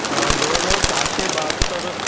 अ जवळजवळ सहाशे बहात्तर